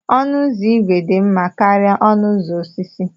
Ọnụ ụzọ ígwè dị mma karịa ọnụ ụzọ osisi.